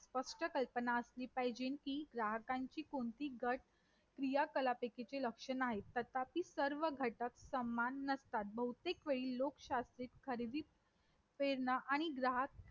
परंतु जर समान नागरी कायदा जर करण्याचे झाले तर एक प्रकारे आपण पण अशा बरेच गोष्टी आहेत.